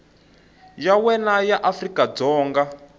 ya wena ya afrika dzonga